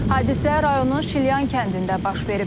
Hadisə rayonun Şilyan kəndində baş verib.